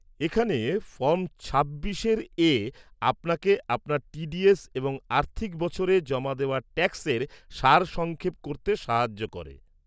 এখানে ফর্ম ২৬এ আপনাকে আপনার টি ডি এস এবং আর্থিক বছরে জমা দেওয়া ট্যাক্সের সারসংক্ষেপ করতে সাহায্য করে।